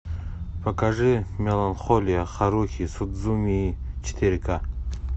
покажи меланхолия харухи судзумии четыре к